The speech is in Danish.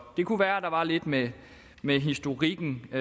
det kunne være der var lidt med med historikken og